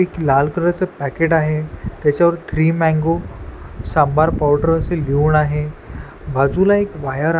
एक लाल कलर च पाकीट आहे त्याच्यावर थ्री मँगो सांबार पावडर असं लिहून आहे बाजूला एक वायर --